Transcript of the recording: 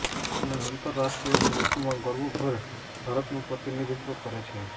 અને આંતરરાષ્ટ્રીય ગોલ્ફમાં ગર્વભેર ભારતનું પ્રતિનિધિત્વ કરે છે